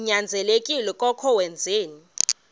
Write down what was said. ninyanzelekile koko wenzeni